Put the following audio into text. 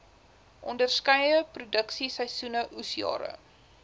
onderskeie produksieseisoene oesjare